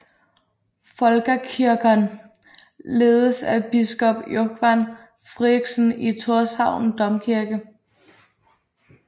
Fólkakirkjan ledes af biskop Jógvan Fríðriksson i Tórshavn Domkirke